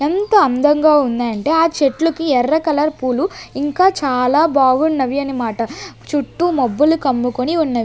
ఎంత అందంగా ఉందంటే ఆ చెట్లుకి ఎర్ర కలర్ పూలు ఇంకా చాలా బాగున్నవి అనిమాట చుట్టూ మబ్బులు కమ్ముకొని ఉన్నవి.